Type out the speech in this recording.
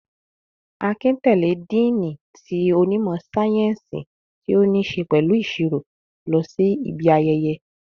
Akin tẹ̀lé díìnì ti onímọ̀ sáyẹ́ǹsì ti o ni ṣe pẹ̀lú ìsirò lọ sí ibi ayẹyẹ